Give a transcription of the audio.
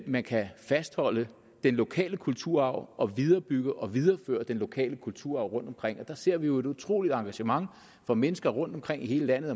man kan fastholde den lokale kulturarv og viderebygge og videreføre den lokale kulturarv rundtomkring og der ser vi jo et utroligt engagement for mennesker rundtomkring i hele landet